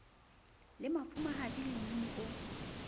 le mafumahadi le mmini o